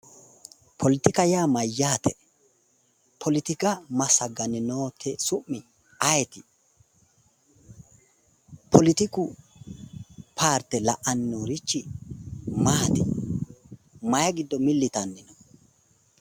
Poletika yaa mayyaate? Poletika massagayi noote su'mi ayeeti? Poletiku paarte la"anni noorichi maati? Mayi giddo milli yitanni no?